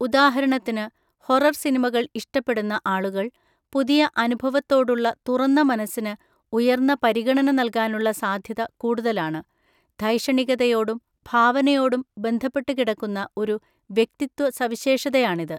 ഉദാഹരണത്തിന്, ഹൊറർ സിനിമകൾ ഇഷ്ടപ്പെടുന്ന ആളുകൾ പുതിയ അനുഭവത്തോടുള്ള തുറന്ന മനസ്സിന് ഉയർന്ന പരിഗണന നൽകാനുള്ള സാധ്യത കൂടുതലാണ്, ധൈഷണികതയോടും ഭാവനയോടും ബന്ധപ്പെട്ടു കിടക്കുന്ന ഒരു വ്യക്തിത്വ സവിശേഷതയാണിത്.